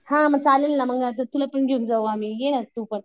हां मग चालेल ना मग तुला पण घेऊन जाऊ आम्ही ये ना तू पण